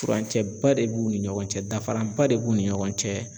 Furancɛba de b'u ni ɲɔgɔn cɛ danfafaraba de b'u ni ɲɔgɔn cɛ